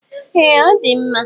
Ee ọdi mma.